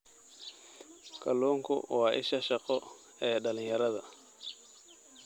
Kalluunku waa isha shaqo ee dhalinyarada.